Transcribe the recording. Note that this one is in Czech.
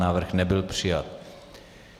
Návrh nebyl přijat.